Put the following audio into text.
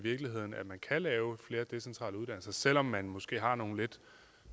at man kan lave flere decentrale uddannelser selv om man måske har nogle lidt